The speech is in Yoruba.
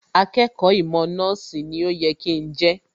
Akẹ́kọ̀ọ́ ìmọ̀ nọ́ọ̀sì ni ó yẹ kí n jẹ́